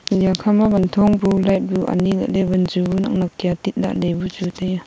eya kha ma wan thong bu light bu ani lahley wanju bu nak nak kia tit laley bu chu tai ya.